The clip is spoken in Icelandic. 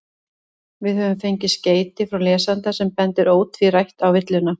Við höfum fengið skeyti frá lesanda sem bendir ótvírætt á villuna.